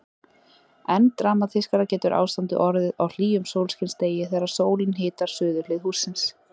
Enn dramatískara getur ástandið orðið á hlýjum sólskinsdegi þegar sólin hitar suðurhlið hússins.